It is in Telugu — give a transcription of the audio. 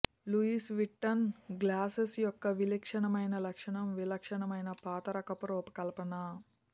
లూయిస్ విట్టన్ గ్లాసెస్ యొక్క విలక్షణమైన లక్షణం విలక్షణమైన పాతకాలపు రూపకల్పన